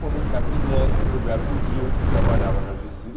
Como Capinam, como Gilberto Gil, que trabalhava na gê cê